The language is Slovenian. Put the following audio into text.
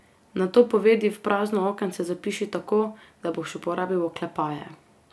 Nato povedi v prazno okence zapiši tako, da boš uporabil oklepaje.